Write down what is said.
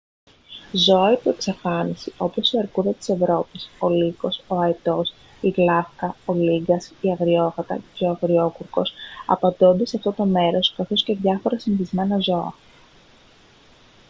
ζώα υπό εξαφάνιση όπως η αρκούδα της ευρώπης ο λύκος ο αετός η γλαύκα ο λύγκας η αγριόγατα και o αγριόκουρκος απαντώνται σε αυτό το μέρος καθώς και διάφορα συνηθισμένα ζώα